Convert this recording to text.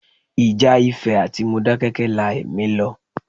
Ìjà Ifẹ̀ àti Modákẹ́kẹ́ la ẹ̀mí lọ.